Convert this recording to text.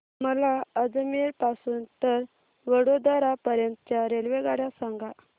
मला अजमेर पासून तर वडोदरा पर्यंत च्या रेल्वेगाड्या सांगा